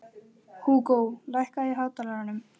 Hafi hann til að mynda frétt það af höfðingjum að